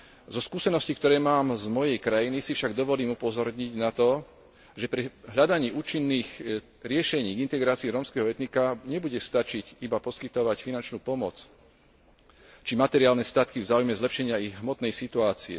Zo skúseností, ktoré mám z mojej krajiny, si však dovolím upozorniť na to, že pri hľadaní účinných riešení integrácie rómskeho etnika nebude stačiť iba poskytovať finančnú pomoc či materiálne statky v záujme zlepšenia ich hmotnej situácie.